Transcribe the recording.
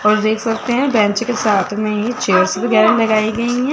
और देख सकते हैं बेंच के साथ में ही चेयर्स वगैरा लगाई गई हैं।